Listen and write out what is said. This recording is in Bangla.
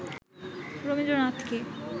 রবীন্দ্রনাথকে